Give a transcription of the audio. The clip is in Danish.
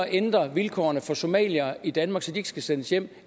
ændre vilkårene for somaliere i danmark så de ikke skal sendes hjem